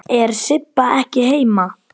Er Sibba ekki heima?